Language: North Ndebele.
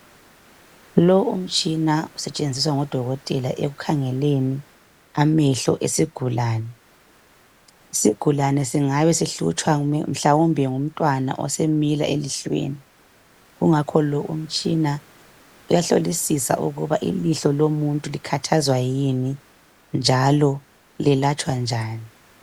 Lo umtshina usetshenziswa ngodokotela ekukhangeleni amehlo esigulane. Isigulane singabe sihlutshwa mhlawumbe ngumntwana osemila elihlweni. Kungakho lo umtshina uyahlolisisa ukuba ilihlo lomuntu likhathazwa yini njalo lelatshwa njani.